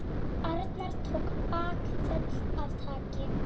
Arnar tók bakföll af kæti.